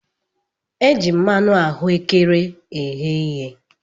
E ji mmanụ ahuekere eghe ihe.